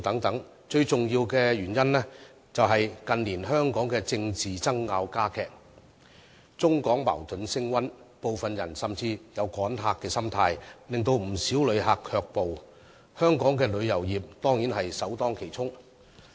不過，最重要的原因是，近年香港的政治爭拗加劇，中港矛盾升溫，部分人甚至有"趕客"的心態，令不少旅客卻步，香港的旅遊業自然首當其衝。